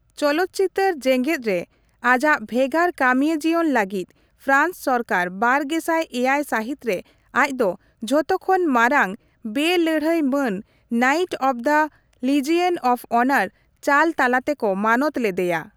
ᱪᱚᱞᱚᱛ ᱪᱤᱛᱟᱹᱨ ᱡᱮᱸᱜᱮᱛ ᱨᱮ ᱟᱡᱟᱜ ᱵᱷᱮᱜᱟᱨ ᱠᱟᱹᱢᱤᱭᱟᱹ ᱡᱤᱭᱚᱱ ᱞᱟᱹᱜᱤᱫ ᱯᱨᱟᱱᱥ ᱥᱚᱨᱠᱟᱨ ᱵᱟᱨᱜᱮᱥᱟᱭ ᱮᱭᱟᱭ ᱥᱟᱹᱦᱤᱛ ᱨᱮ ᱟᱡᱽᱫᱚ ᱡᱚᱛᱚ ᱠᱷᱚᱱ ᱢᱟᱨᱟᱝ ᱵᱮᱼᱞᱟᱹᱲᱦᱟᱹᱭ ᱢᱟᱹᱱ 'Knight of the Legion of Honour' ᱪᱟᱞ ᱛᱟᱞᱟᱛᱮᱠᱚ ᱢᱟᱱᱚᱛ ᱞᱮᱫᱮᱭᱟ ᱾